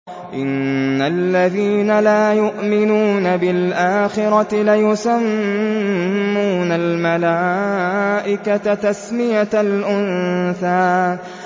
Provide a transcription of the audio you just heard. إِنَّ الَّذِينَ لَا يُؤْمِنُونَ بِالْآخِرَةِ لَيُسَمُّونَ الْمَلَائِكَةَ تَسْمِيَةَ الْأُنثَىٰ